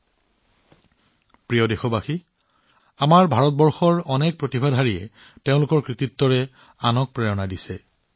মোৰ মৰমৰ দেশবাসীসকল আমাৰ ভাৰত বহুতো অসাধাৰণ প্ৰতিভাৰে সমৃদ্ধ যাৰ কামে আনক কিবা কৰিবলৈ অনুপ্ৰাণিত কৰে